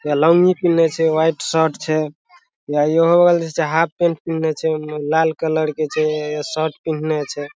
या लॉन्गी पिहिनले छै व्हाइट शर्ट छै या इहो बगल जे छै हाफ पैंट पिनन्हे छै लाल कलर के छै शर्ट पिहिने छै।